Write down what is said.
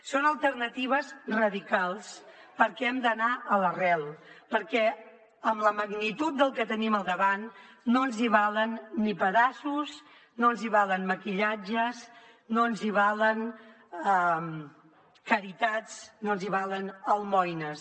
són alternatives radicals perquè hem d’anar a l’arrel perquè amb la magnitud del que tenim al davant no ens hi valen ni pedaços no ens hi valen maquillatges no ens hi valen caritats no ens hi valen almoines